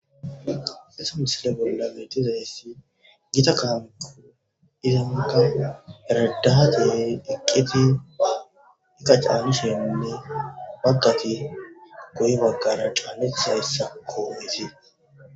Esa misile bolla betiza issi gita kaanko izenta eradaha deeri eqqeti ika caalushenne baggati gohi baggara caalitha issa kooiti